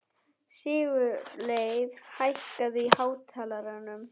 Sigurleif, hækkaðu í hátalaranum.